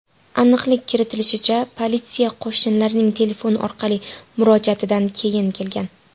Aniqlik kiritilishicha, politsiya qo‘shnilarning telefon orqali murojaatidan keyin kelgan.